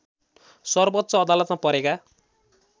सर्वोच्च अदालतमा परेका